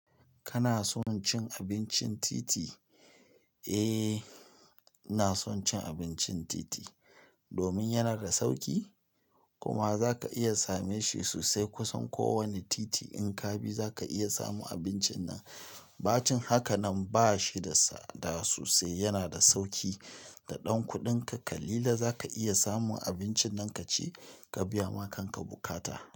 Kana son cin abincin titi? Eh, ina son cin abincin titi. Domin yana da sauƙi kuma zaka iya same shi sosai kusan kowanne titi in ka bi zaka iya samun abincin nan. Bacin haka nan ba shi da tsada sosai, yana da sauƙi. Da ɗan kuɗin ka kalilan za ka iya samun abincin nan ka ci ka biya ma kanka bukata.